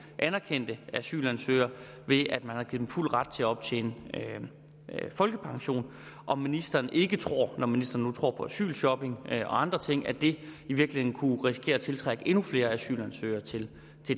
anerkendte asylansøgere ved at man har givet dem fuld ret til at optjene folkepension om ministeren ikke tror når ministeren nu tror på asylshopping og andre ting at det i virkeligheden kunne risikere at tiltrække endnu flere asylansøgere til